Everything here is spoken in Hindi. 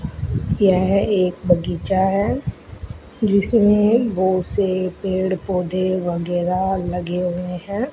यह एक बगीचा है जिसमें बहोत से पेड़-पौधे वगैरा लगे हुए हैं।